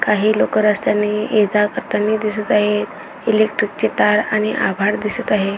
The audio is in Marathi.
काही लोक रस्त्यानि ये जा करतानी दिसत आहेत इलेक्ट्रिक ची तार आणि आभाळ दिसत आहे.